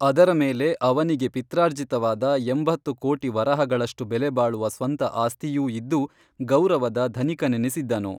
ಅದರ ಮೇಲೆ ಅವನಿಗೆ ಪಿತ್ರಾರ್ಜಿತವಾದ ಎಂಬತ್ತು ಕೋಟಿ ವರಹಗಳಷ್ಟು ಬೆಲೆಬಾಳುವ ಸ್ವಂತ ಆಸ್ತಿಯೂ ಇದ್ದು ಗೌರವದ ಧನಿಕನೆನಿಸಿದ್ದನು